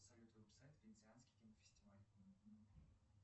салют вэб сайт венециансий кинофестиваль